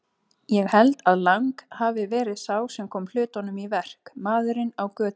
Ég held að Lang hafi verið sá sem kom hlutunum í verk, maðurinn á götunni.